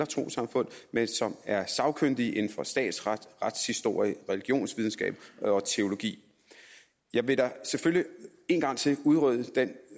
trossamfund men som er sagkyndige inden for statsret retshistorie religionsvidenskab og teologi jeg vil selvfølgelig en gang til udrydde den